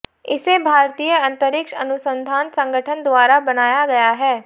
इसे भारतीय अंतरिक्ष अनुसंधान संगठन द्वारा बनाया गया है